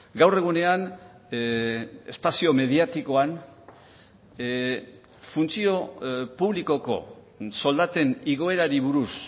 gaur egunean espazio mediatikoan funtzio publikoko soldaten igoerari buruz